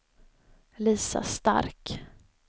Lisa Stark